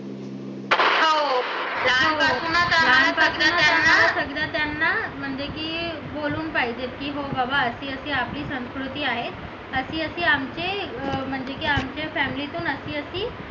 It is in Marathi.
हो लहानपणापासूनच त्यांना सगळं त्यांना म्हणजे की बोलून पाहिजे की बाबा ती आपली संस्कृती आहे अशी अशी आमची म्हणजे की आमची family तून अशी अशी